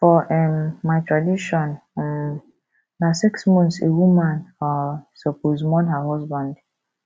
for um my tradition um na six months a woman um suppose mourn her husband